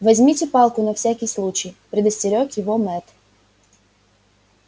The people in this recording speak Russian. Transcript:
возьмите палку на всякий случай предостерёг его мэтт